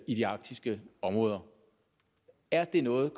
i de arktiske områder er det noget